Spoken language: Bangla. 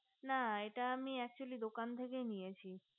না এটা আমি atcually দোকান থেকেই নিয়েছি